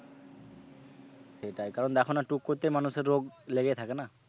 সেটাই কারণ দেখোনা টুক করতেই মানুষের রোগ লেগেই থাকে না।